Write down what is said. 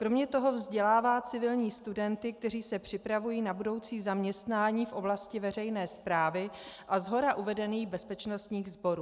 Kromě toho vzdělává civilní studenty, kteří se připravují na budoucí zaměstnání v oblasti veřejné správy a shora uvedených bezpečnostních sborů.